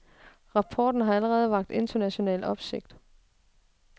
Rapporten har allerede vakt international opsigt.